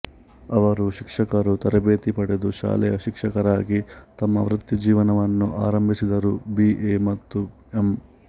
ಅವರು ಶಿಕ್ಷಕರ ತರಬೇತಿ ಪಡೆದು ಶಾಲೆಯ ಶಿಕ್ಷಕರಾಗಿ ತಮ್ಮ ವೃತ್ತಿಜೀವನವನ್ನು ಆರಂಭಿಸಿದರು ಬಿ ಎ ಮತ್ತು ಎಂ